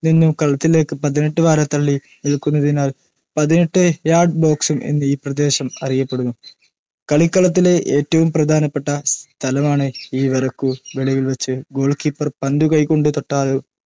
നിന്നും കളത്തിലേക്ക്‌ പതിനെട്ട് വാര തള്ളി നിൽക്കുന്നതിനാൽ പതിനെട്ട് യാർഡ്‌ ബോക്സ്‌ എന്നും ഈ പ്രദേശം അറിയപ്പെടുന്നു. കളിക്കളത്തിലെ ഏറ്റവും പ്രധാനപ്പെട്ട സ്ഥലമാണിത്‌ ഈ വരയ്കു വെളിയിൽ വച്ച്‌ ഗോൾകീപ്പർ പന്തു കൈകൊണ്ടു തൊട്ടാലോ